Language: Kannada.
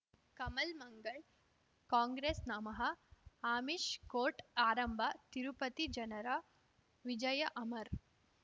ಕಮಲ್ ಮಂಗಳ್ ಕಾಂಗ್ರೆಸ್ ನಮಃ ಆಮಿಷ್ ಕೋರ್ಟ್ ಆರಂಭ ತಿರುಪತಿ ಜನರ ವಿಜಯ ಅಮರ್